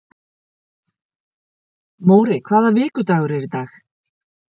Móri, hvaða vikudagur er í dag?